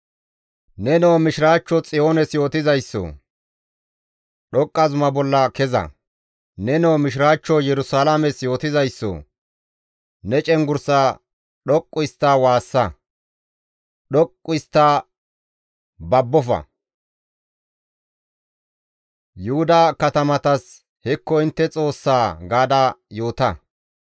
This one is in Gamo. Nenoo mishiraachcho Xiyoones yootizaysso, dhoqqa zuma bolla keza; nenoo mishiraachcho Yerusalaames yootizaysso, ne cenggurssaa dhoqqu histta waassa; dhoqqu histta, babbofa; Yuhuda katamatas, «Hekko intte Xoossaa» gaada yoota.